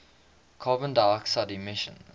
carbon dioxide emissions